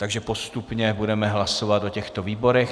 Takže postupně budeme hlasovat o těchto výborech.